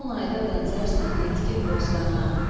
Son ayda bənzərsən yetkin bostana.